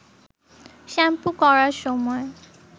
shampoo করার সময়